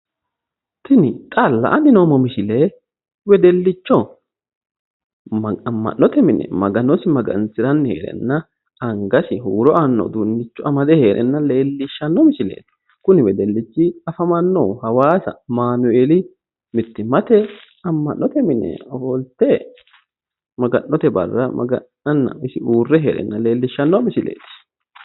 Tini xaalla ani la'anni noommo misile wedellicho amma'note mine magano maga'nanni heereenna angasi huuro aanno uduunnicho amade awaasa amanueeli amma'note mine heere leellanno wedellichooti